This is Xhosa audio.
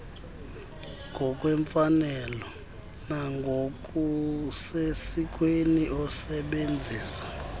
ngokwemfanelo nangokusesikweni esebenzisa